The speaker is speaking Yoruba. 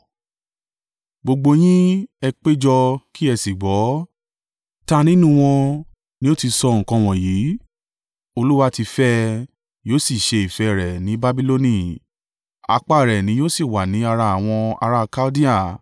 “Gbogbo yín, ẹ péjọ kí ẹ sì gbọ́. Ta nínú wọn ni ó ti sọ nǹkan wọ̀nyí. Olúwa ti fẹ́ ẹ, yóò sì ṣe ìfẹ́ rẹ̀ ní Babiloni, apá rẹ̀ ni yóò sì wà ní ará àwọn ará Kaldea.